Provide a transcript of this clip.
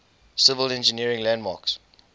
civil engineering landmarks